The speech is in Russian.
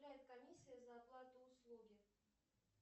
комиссия за оплату услуги